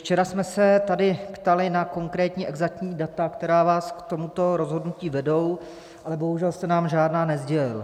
Včera jsme se tady ptali na konkrétní, exaktní data, která vás k tomuto rozhodnutí vedou, ale bohužel jste nám žádná nesdělil.